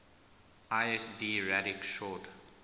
lsd radix sort